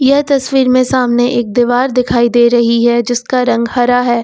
यह तस्वीर में सामने एक दीवार दिखाई दे रही है जिसका रंग हरा है।